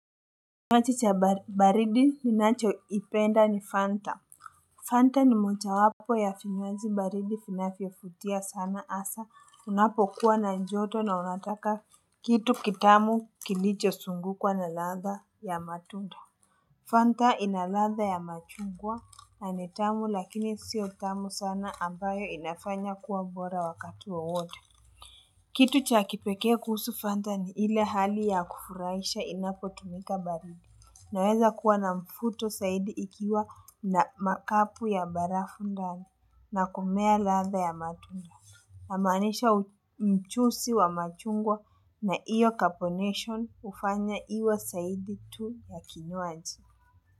Kinywaji cha baridi ninachoipenda ni Fanta. Fanta ni moja wapo ya vinywaji baridi vinavyofutia sana hasa unapokuwa na joto na unataka kitu kitamu kilicho zungukwa na ladha ya matunda. Fanta ina ladha ya machungwa na ni tamu lakini sio tamu sana ambayo inafanya kuwa bora wakati wowote. Kitu cha kipekee kuhusu fanta ni ile hali ya kufurahisha inapotumika baridi. Inaweza kuwa na mfuto zaidi ikiwa na makapu ya barafu ndani na kumea ladha ya matunda. Namaanisha mchuuzi wa machungwa na hiyo carbonation hufanya iwe zaidi tu ya kinywaji.